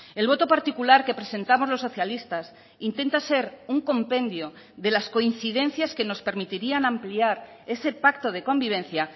el voto particular que presentamos los socialistas intenta ser un compendio de las coincidencias que nos permitirían ampliar ese pacto de convivencia